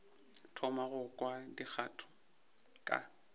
thoma go kwa dikgato ka